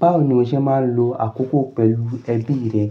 Báwo ni o ṣe máa ń lo àkókò pẹ̀lú ẹbí rẹ?